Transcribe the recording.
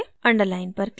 underline पर click करें